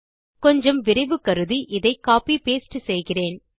கொஞ்சம் விரைவு கருதி இதை கோப்பி பாஸ்டே செய்கிறேன்